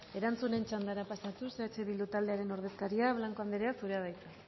erantzuten txandara pasatuz eh bildu taldearen ordezkaria blanco anderea zurea da hitza